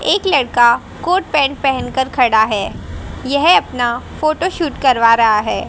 एक लड़का coat pant पहन कर खड़ा है यह अपना फोटो शूट करवा रहा है।